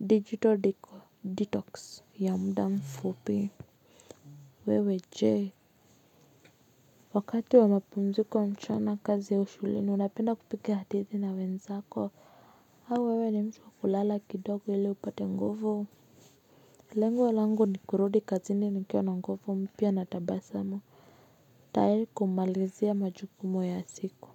digital detox ya mda mfupi. Wewe jee. Wakati wa mapumziko mchana kazi ya shuleni unapenda kupiga hadithi na wenzako. Au wewe ni mtu wa kulala kidogo ili upate nguvu. Lengo langu ni kurudi kazini nikiwa na nguvu mpya na tabasamu. Tayari kumalizia majukumu ya siku.